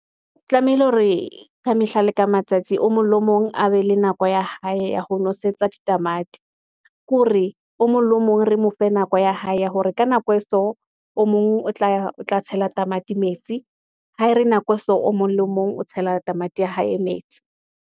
O tlamehile hore ka mehla le ka matsatsi, o mong le mong a be le nako ya hae ya ho nosetsa ditamati, ke hore o mong le o mong re mo fe nako ya hae, ya hore ka nako e so, o mong o tla tshela tamati metsi. Ha re nako so o mong le mong o tshela tamati ya hae e metsi.